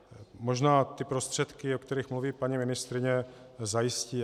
Možná ty prostředky, o kterých mluví paní ministryně, zajistí.